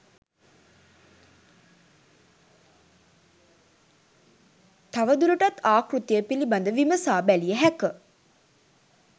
තවදුරටත් ආකෘතිය පිළිබඳ විමසා බැලිය හැක